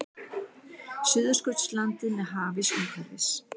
Suðurskautslandið með hafís umhverfis.